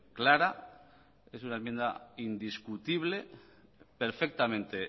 clara es una enmienda indiscutible perfectamente